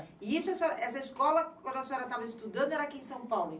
E isso, essa escola, quando a senhora estava estudando, era aqui em São Paulo.